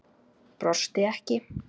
Brosti ekki.